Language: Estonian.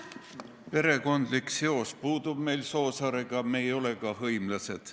Perekondlik seos mul Soosaarega puudub, me ei ole ka hõimlased.